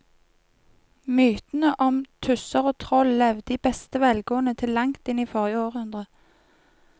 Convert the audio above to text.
Mytene om tusser og troll levde i beste velgående til langt inn i forrige århundre.